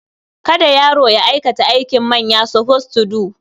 Kada yaro ya aikata aikin manya. suppose to do.